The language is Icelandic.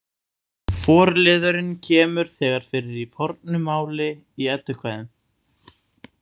Forliðurinn kemur þegar fyrir í fornu máli í Eddukvæðum.